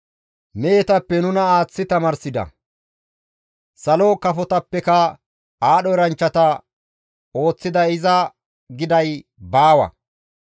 Mehetappe nuna aaththi tamaarsida; salo kafotappeka aadho eranchchata ooththiday iza› giday baawa.